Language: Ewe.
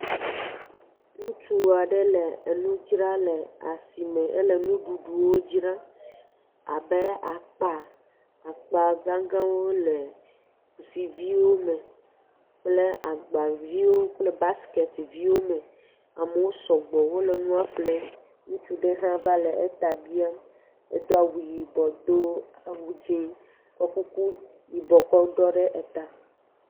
Ŋutsua ɖe le nu dzram le asime. Ele nuɖuɖuwo dzram abe akpa gãgãwo le kusiviwo me kple gbaviwo kple busketiviwo me. Amewo sɔgbɔ wole nua ƒem, ŋutsu ɖe hã va le eta biam. Edo awu yibɔ do awu dzɛ kɔ kuku yibɔ kɔ ɖɔe ɖe eta.